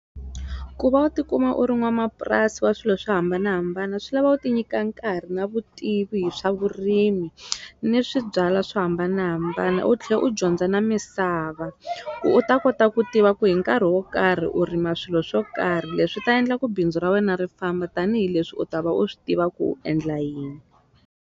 Ku va u tikuma u ri n'wamapurasi wa swilo swo hambanahambana swi lava u ti nyika nkarhi na vutivi hi swa vurimi ni swi byala swo hambanahambana u tlhe u dyondza na misava ku u ta kota ku tiva ku hi nkarhi wo karhi u rima swilo swo karhi leswi ta endla ku bindzu ra wena ri famba tanihileswi u ta va u swi tiva ku u endla yini.